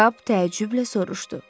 Kap təəccüblə soruşdu.